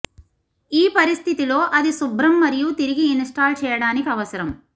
ఈ పరిస్థితిలో అది శుభ్రం మరియు తిరిగి ఇన్స్టాల్ చేయడానికి అవసరం